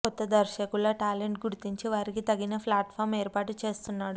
కొత్త దర్శకుల టాలెంట్ గుర్తించి వారికి తగిన ఫ్లాట్ఫామ్ ఏర్పాటు చేస్తున్నాడు